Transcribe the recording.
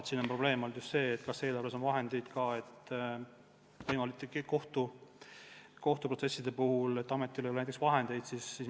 Küsimus on olnud ka see, kas eelarves on vahendeid, mida võimalike kohtuprotsesside puhul välja käia.